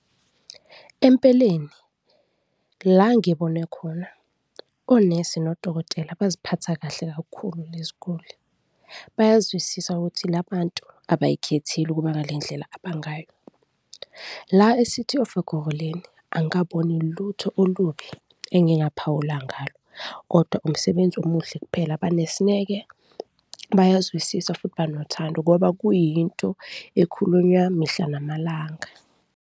Empeleni, la ngibone khona onesi nodokotela baziphatha kahle kakhulu lezi ziguli, bayazwisisa ukuthi la bantu abazikhetheli ukuba ngale ndlela abangayo. La e-City of Ekurhuleni angikaboni lutho olubi engingaphawula ngalo kodwa umsebenzi omuhle kuphela, banesineke, bayazwisisa futhi banothando ngoba kuyinto ekhulunywa mihla namalanga.